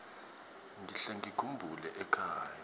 ngihle ngikhumbula ekhaya